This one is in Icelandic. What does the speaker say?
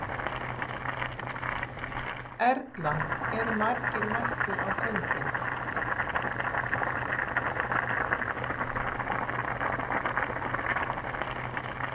Erla, eru margir mættir á fundinn?